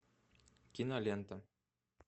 кинолента